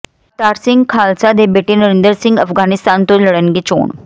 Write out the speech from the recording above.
ਅਵਤਾਰ ਸਿੰਘ ਖਾਲਸਾ ਦੇ ਬੇਟੇ ਨਰਿੰਦਰ ਸਿੰਘ ਅਫ਼ਗ਼ਾਨਿਸਤਾਨ ਤੋਂ ਲੜਨਗੇ ਚੋਣ